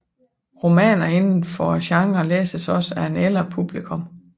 Romaner indenfor genren læses også af et ældre publikum